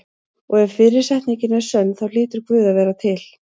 Og ef fyrri setningin er sönn þá hlýtur Guð að vera til.